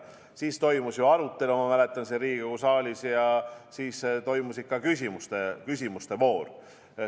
Siis toimus ju arutelu, ma mäletan, siin Riigikogu saalis ja siis toimus ka küsimuste voor.